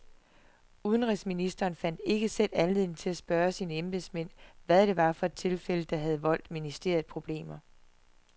Udenrigsministeren fandt ikke selv anledning til at spørge sine embedsmænd, hvad det var for et tilfælde, der havde voldt ministeriet problemer.